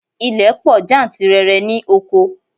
Ilẹ̀ pọ̀ jantirẹrẹ ní oko.